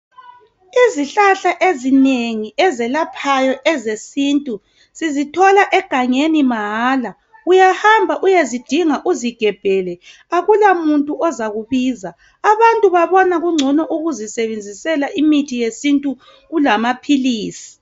Izihlahla ezinengi ezelaphayo ezesintu sizithola egangeni mahala uyahamba uyezidinga uzigebhele akulamuntu ozakubiza abantu babona kungcono ukuzisebenzisele imithi yesintu kulamaphilisi.